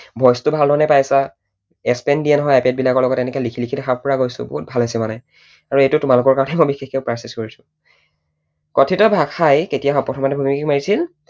Voice ভাল ধৰণে পাইছা দিয়া হয় আইপেড বিলাকৰ লগত, এনেকৈ এনেকৈ লিখি লিখি দেখাব পৰা গৈছো, বহুত ভাল হৈছে মানে। আৰু এইটো তোমালোকৰ কাৰণেহে মই বিশেষকৈ purchase কৰিছো। কথিত ভাষাই কেতিয়া প্ৰথমতে ভুমুকি মাৰিছিল?